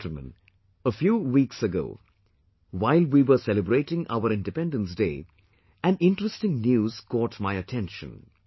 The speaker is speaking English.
Dear countrymen, a few weeks ago, while we were celebrating our Independence Day, an interesting news caught my attention